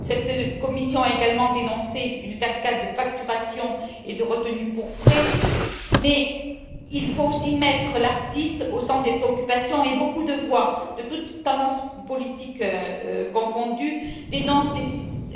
Cette commission a également dénoncé une cascade de facturations et de retenues pour frais. L'artiste doit être au centre des préoccupations et beaucoup de voix de toutes tendances politiques confondues dénoncent